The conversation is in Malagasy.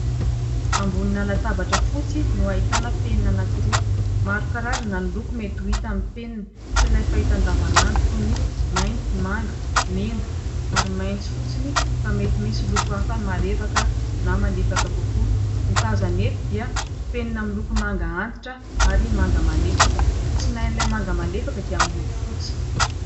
Ambonin'ny latabatra fotsy no ahitana penina anankiroa, maro karazana ny loko mety ho hita amin'ny penina, tsy ilay fahita andavanandro toy ny : mainty, manga, mena ary maitso fotsiny fa mety misy loko hafa marevaka na malefaka kokoa, ny tazana eto dia penina miloko manga antitra ary manga malefaka, ny tsinain'ilay manga malefaka dia miloko fotsy.